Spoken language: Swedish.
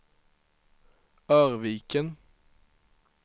Örviken